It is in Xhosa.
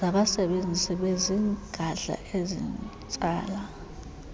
zabasebenzi bezigadla ezitsala